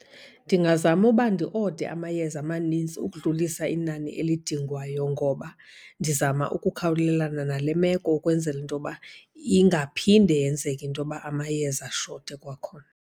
Ndingazama uba ndi-ode amayeza amaninzi ukudlulisa inani elidingwayo. Ngoba ndizama ukukhawulelana nale meko, ukwenzela into yoba ingaphinde yenzeke into yoba amayeza ashote kwakhona.